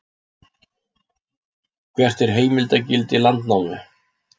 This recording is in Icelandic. hvert er heimildargildi landnámu